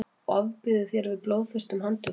ofbýður þér við blóðþyrstum handtökum